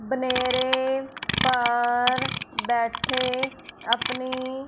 बनेरे पर बैठे अपनी--